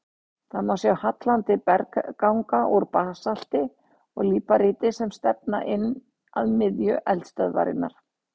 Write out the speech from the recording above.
Þar má sjá hallandi bergganga úr basalti og líparíti sem stefna inn að miðju eldstöðvarinnar.